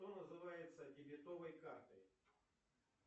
что называется дебетовой картой